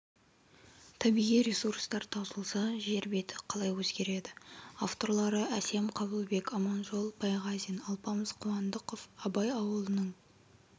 табиғи ресурстар таусылса жер беті қалай өзгереді авторлары әсем қабылбек аманжол байғазин алпамыс қуандықов абай ауылының